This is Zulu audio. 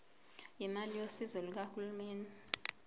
imali yosizo lukahulumeni